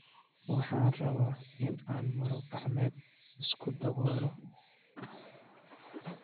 Waxa aan rabaa in aan maro-gacmeed isku daboolo.